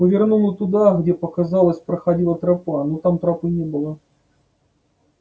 повернула туда где показалось проходила тропа но там тропы не было